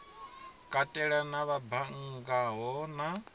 katela na vha banngaho na